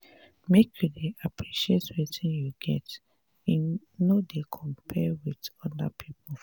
make you dey appreciate wetin you get no dey compare wit oda pipo.